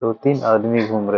दो-तीन आदमी घूम रहे --